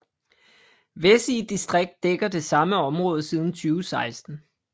Vessige distrikt dækker det samme område siden 2016